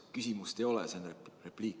Küsimust ei ole, see oli repliik.